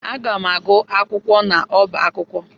Aga m agụ akwụkwọ n'ọbá akwụkwọ.